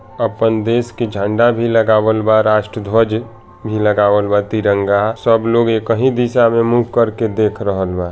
अपन देश के झंडा भी लगावल बा राष्ट्रध्वज भी लगावल बा तिरंगा सब लोग एक ही दिशा में मुंह करके देख रहल बा।